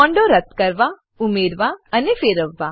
બોન્ડો રદ્દ કરવા ઉમેરવા અને ફેરવવા